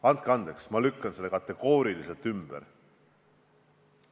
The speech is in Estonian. Andke andeks, ma lükkan selle kategooriliselt ümber!